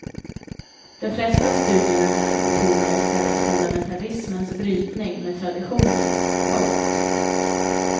De flesta studierna här betonar i stället fundamentalismens brytning med traditionen. punkt